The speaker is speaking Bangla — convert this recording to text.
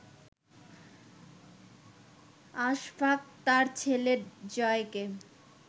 আশফাক তার ছেলে জয়কে